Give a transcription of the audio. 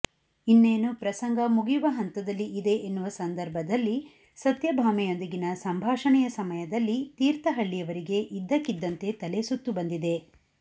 ಇನ್ನೇನು ಪ್ರಸಂಗ ಮುಗಿಯುವ ಹಂತದಲ್ಲಿ ಇದೆ ಎನ್ನುವ ಸಂದರ್ಭದಲ್ಲಿ ಸತ್ಯಭಾಮೆಯೊಂದಿಗಿನ ಸಂಭಾಷಣೆಯ ಸಮಯದಲ್ಲಿ ತೀರ್ಥಹಳ್ಳಿಯವರಿಗೆ ಇದ್ದಕ್ಕಿದ್ದಂತೆ ತಲೆಸುತ್ತುಬಂದಿದೆ